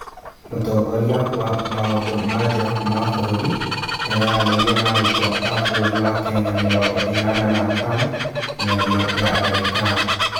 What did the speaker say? Mũtongoria wa maũndũ ma nja wa bũrũri nĩararanĩria na arutwo a bũrũri wa Kenya mĩrongo ĩnana na atano Mĩario ya ndagĩtarĩ